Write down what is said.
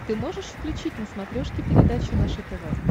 ты можешь включить на смотрешке передачу наше тв